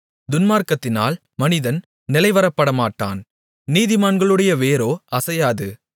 துன்மார்க்கத்தினால் மனிதன் நிலைவரப்படமாட்டான் நீதிமான்களுடைய வேரோ அசையாது